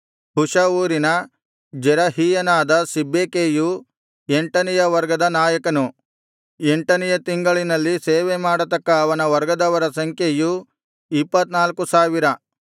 ಹುಷ ಊರಿನ ಜೆರಹೀಯನಾದ ಸಿಬ್ಬೆಕೈಯು ಎಂಟನೆಯ ವರ್ಗದ ನಾಯಕನು ಎಂಟನೆಯ ತಿಂಗಳಿನಲ್ಲಿ ಸೇವೆಮಾಡತಕ್ಕ ಅವನ ವರ್ಗದವರ ಸಂಖ್ಯೆಯು ಇಪ್ಪತ್ತ್ನಾಲ್ಕು ಸಾವಿರ